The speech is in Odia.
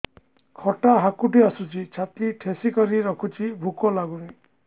ଖଟା ହାକୁଟି ଆସୁଛି ଛାତି ଠେସିକରି ରଖୁଛି ଭୁକ ଲାଗୁନି